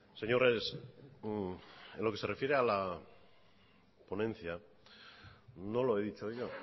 señores en lo que se refiere a la ponencia no lo he dicho yo